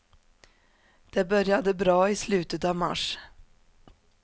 Det började bra i slutet av mars.